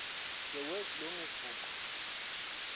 the worlds longest book